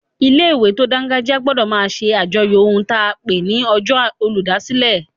Ilé-ìwé tó dángájíá gbọdọ̀ máa ṣe àjọyọ̀ ohun ta n pè ní ọjọ́ olùdásílẹ̀